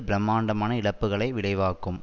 பிரமாண்டமான இழப்புக்களை விளைவாக்கும்